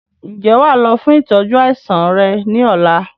Ǹjẹ́ wàá lọ fún ìtọ́jú àìsàn rẹ ni ọ̀la?